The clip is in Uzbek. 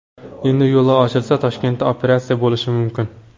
Endi yo‘llar ochilsa, Toshkentda operatsiya bo‘lishi mumkin.